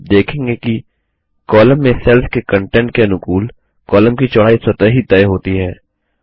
आप देखेंगे कि कॉमल में सेल्स के कंटेंट के अनुकूल कॉमल की चौड़ाई स्वतः ही तय होती है